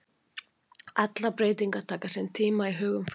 Allar breytingar taka sinn tíma í hugum fólks.